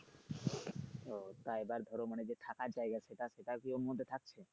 ও তাই এবার ধরো মানে যে থাকার জায়গা সেটা সেটার কি ওর মধ্যে থাকছে?